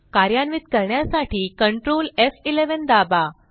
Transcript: कार्यान्वित करण्यासाठी कंट्रोल एफ11 दाबा